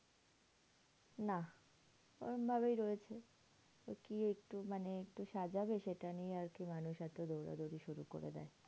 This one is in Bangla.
নাহ ওরম ভাবেই রয়েছে। তো কি একটু মানে একটু সাজাবে সেটা নিয়ে আরকি মানুষ এত দৌড়াদৌড়ি শুরু করে দেয়।